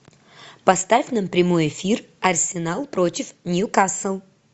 поставь нам прямой эфир арсенал против ньюкасл